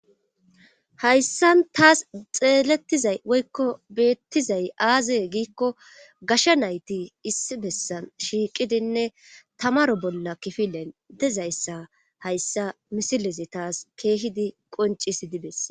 hayssan taas xeelettizay woykko beettizay aaze giikko gasha nayti issi bessan shiiqidinne tamaro bolla kifilen dezayssa hayssa misilezi taas keehidi qoncis dibes